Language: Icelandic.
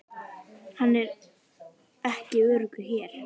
Hann er ekki öruggur hér